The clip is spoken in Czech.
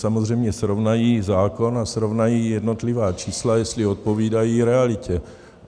Samozřejmě srovnají zákon a srovnají jednotlivá čísla, jestli odpovídají realitě.